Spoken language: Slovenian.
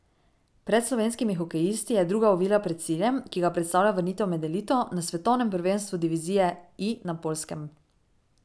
Pred slovenskimi hokejisti je druga ovira pred ciljem, ki ga predstavlja vrnitev med elito, na svetovnem prvenstvu divizije I na Poljskem.